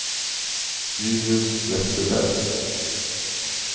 Julius Westerberg